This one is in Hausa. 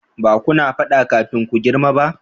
ba kuna fada kafin ku girma ba?